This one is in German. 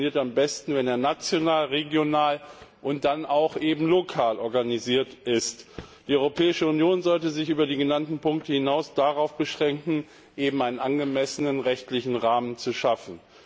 Das funktioniert am besten, wenn er national, regional und dann eben auch lokal organisiert ist. Die Europäische Union sollte sich über die genannten Punkte hinaus darauf beschränken, einen angemessenen rechtlichen Rahmen zu schaffen.